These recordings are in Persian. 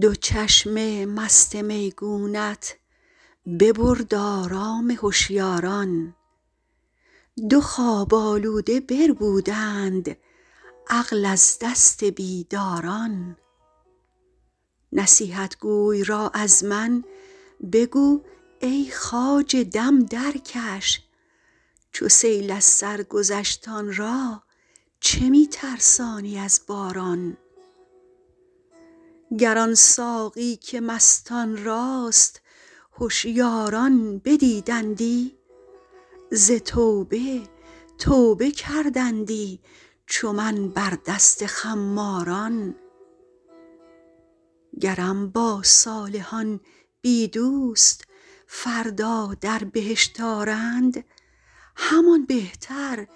دو چشم مست میگونت ببرد آرام هشیاران دو خواب آلوده بربودند عقل از دست بیداران نصیحتگوی را از من بگو ای خواجه دم درکش چو سیل از سر گذشت آن را چه می ترسانی از باران گر آن ساقی که مستان راست هشیاران بدیدندی ز توبه توبه کردندی چو من بر دست خماران گرم با صالحان بی دوست فردا در بهشت آرند همان بهتر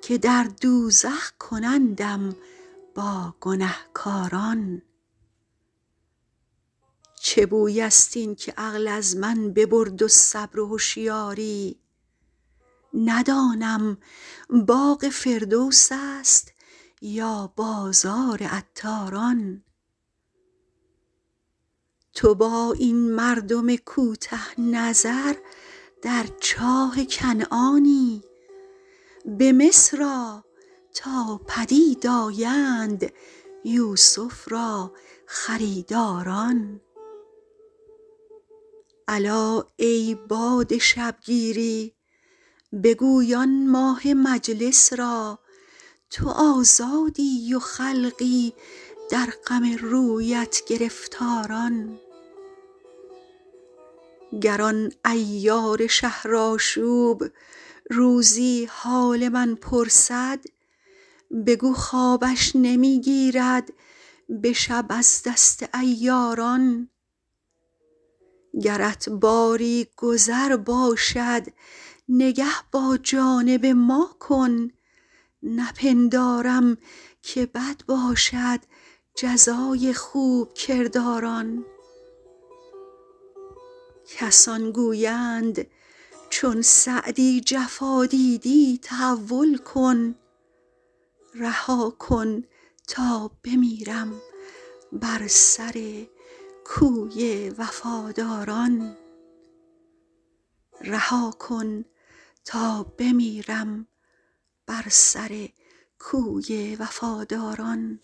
که در دوزخ کنندم با گنهکاران چه بوی است این که عقل از من ببرد و صبر و هشیاری ندانم باغ فردوس است یا بازار عطاران تو با این مردم کوته نظر در چاه کنعانی به مصر آ تا پدید آیند یوسف را خریداران الا ای باد شبگیری بگوی آن ماه مجلس را تو آزادی و خلقی در غم رویت گرفتاران گر آن عیار شهرآشوب روزی حال من پرسد بگو خوابش نمی گیرد به شب از دست عیاران گرت باری گذر باشد نگه با جانب ما کن نپندارم که بد باشد جزای خوب کرداران کسان گویند چون سعدی جفا دیدی تحول کن رها کن تا بمیرم بر سر کوی وفاداران